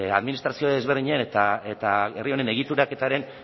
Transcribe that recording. administrazio desberdinen eta herri honen egituraketaren